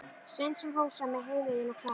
Sveinsson, Rósa með Heiðveigu og Klara.